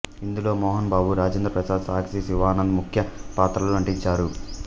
ఇందులో మోహన్ బాబు రాజేంద్ర ప్రసాద్ సాక్షి శివానంద్ ముఖ్య పాత్రల్లో నటించారు